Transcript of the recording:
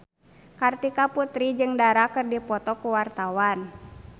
Kartika Putri jeung Dara keur dipoto ku wartawan